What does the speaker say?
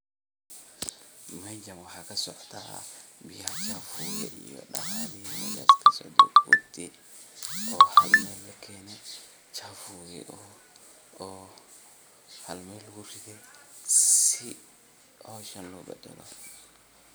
Mejaan waxaa kasocadaa biaya chaafuga ah iyo daqaalihi meshaas socde kudi oo hal meel lakeene chaafugi oo hal mel laguridhe si hooshan loo badalo.